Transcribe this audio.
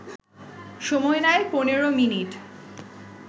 সময় নেয় ১৫ মিনিট